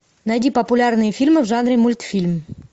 найди популярные фильмы в жанре мультфильм